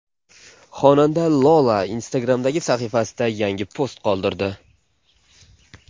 Xonanda Lola Instagram’dagi sahifasida yangi post qoldirdi.